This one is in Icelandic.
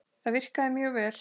Það virkar mjög vel.